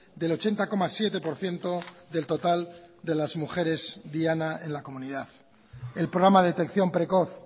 del ochenta coma siete por ciento del total de las mujeres diana en la comunidad el programa de detección precoz